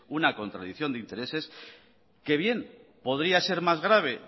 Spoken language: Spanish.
una contradicción de intereses que bien podría ser más grave